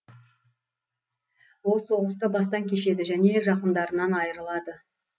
ол соғысты бастан кешеді және жақындарынан айырылады